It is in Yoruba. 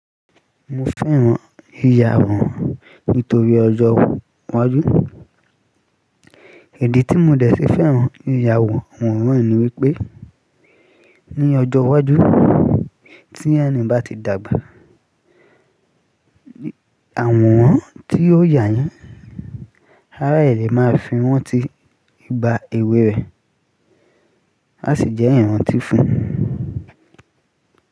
Mo fẹ́ran ìyàwò nítorí ọjọ́ iwájú. Idi tí mo dẹ̀ fi fẹ́ran ìyàwò ọhun naa ni wípé ní ọjọ́ iwájú tí ẹni bá ti dàgbà, àworan tí ó yà yii, árà ẹ́ ni e máa fi ranti igbà èwe rẹ̀, á sì jẹ́ ìrántí fún un.